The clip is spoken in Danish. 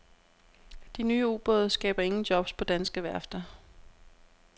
De nye ubåde skaber ingen jobs på danske værfter.